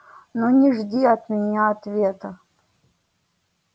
но не ждите от меня ответа